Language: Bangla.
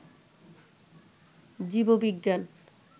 জীব বিজ্ঞান